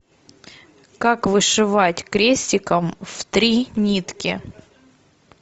как вышивать крестиком в три нитки